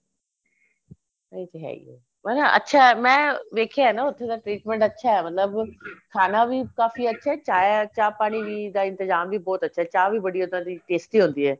ਏ ਤੇ ਹੈ ਈ ਏ ਮਤਲਬ ਅੱਛਾ ਮੈਂ ਵੇਖਿਆ ਨਾ ਉੱਥੇ ਦਾ treatment ਅੱਛਾ ਮਤਲਬ ਖਾਣਾ ਵੀ ਕਾਫੀ ਅੱਛਾ ਚਾ ਪਾਣੀ ਦਾ ਇੰਤਜਾਮ ਵੀ ਬਹੁਤ ਅੱਛਾ ਚਾ ਵੀ ਬਹੁਤ ਉਹਨਾ ਦੀ tasty ਹੁੰਦੀ ਏ